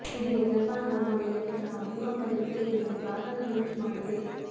ಇದೀಗ ಜಪಾನ್ ಹವಾಮಾನ ಇಲಾಖೆ ಸಹ ಭೂಕಂಪದ ಎಚ್ಚರಿಕೆ ನೀಡಿದ್ದು ಆತಂಕ ಹೆಚ್ಚು ಮಾಡಿದೆ